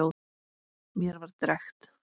Mér var drekkt.